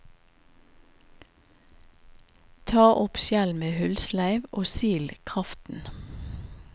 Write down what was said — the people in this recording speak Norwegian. Ta opp skjell med hullsleiv, og sil kraften.